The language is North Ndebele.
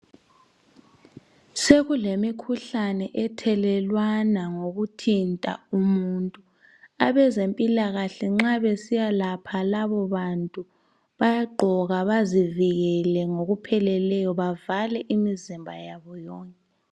Sekulemikhuhlane ethelelwana ngokuthinta umuntu, abezempilakahle nxa besiyalapha labobantu bayaqgoka bazivikele ngokupheleleyo bavale imizimba yabo yonke.